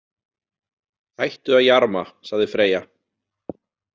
Hættu að jarma, sagði Freyja.